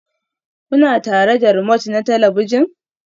Kuna tare da remote na talabijin?